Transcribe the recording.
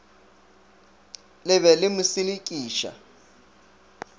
le be le mo selekiša